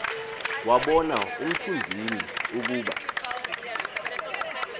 wabona umthunzini ukuba